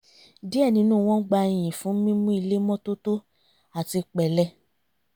díẹ̀ nínú wọn ń gba iyìn fún mímu ilé mọ́tótó àti pẹ̀lẹ